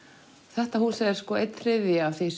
þetta hús er sko einn þriðja af því